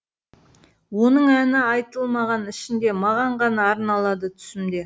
оның әні айтылмаған ішінде маған ғана арналады түсімде